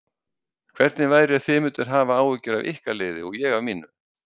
Hvernig væri ef þið mynduð hafa áhyggjur af ykkar liði og ég af mínu?